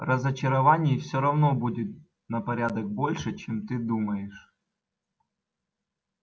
разочарований все равно будет на порядок больше чем ты думаешь